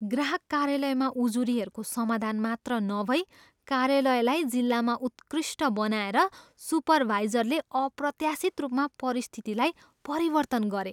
ग्राहक कार्यालयमा उजुरीहरूको समाधान मात्र नभई कार्यालयलाई जिल्लामा उत्कृष्ट बनाएर सुपरवाइजरले अप्रत्याशित रूपमा परिस्थितिलाई परिवर्तन गरे।